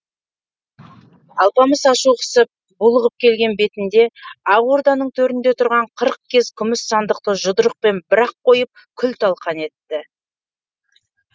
алпамыс ашу қысып булығып келген бетінде ақ орданың төрінде тұрған қырық кез күміс сандықты жұдырықпен бір ақ қойып күл талқан етті